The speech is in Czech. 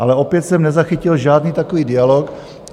Ale opět jsem nezachytil žádný takový dialog.